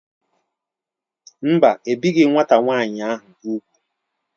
Mba, ebighị nwata nwaanyị ahụ úgwù.